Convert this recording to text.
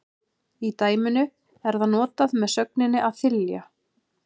Í dæminu er það notað með sögninni að þylja.